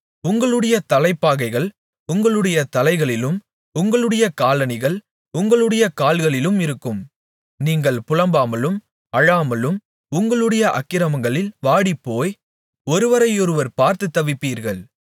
உங்களுடைய தலைப்பாகைகள் உங்களுடைய தலைகளிலும் உங்களுடைய காலணிகள் உங்களுடைய கால்களிலும் இருக்கும் நீங்கள் புலம்பாமலும் அழாமலும் இருந்து உங்களுடைய அக்கிரமங்களில் வாடிப்போய் ஒருவரையொருவர் பார்த்துத் தவிப்பீர்கள்